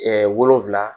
wolonfila